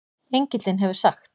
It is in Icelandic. Engillinn hefur sagt